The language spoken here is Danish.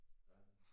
Ja